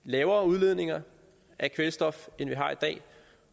lavere udledninger af kvælstof end vi har i dag